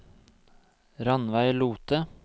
Rannveig Lothe